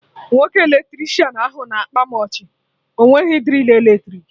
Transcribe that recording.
Nwoke Eletricịanahụ na-akpa mụ ọchị, ọ nweghị drill eletrik